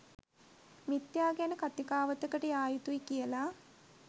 මිථ්‍යා ගැන කතිකාවතකට යා යුතුයි කියලා.